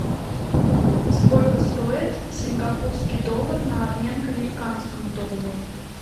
сколько стоит сингапурский доллар на обмен к американскому доллару